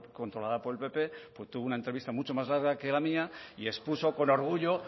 controlada por el pp pues tuvo una entrevista mucho más larga que la mía y expuso con orgullo